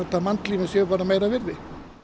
að mannslífin séu meira virði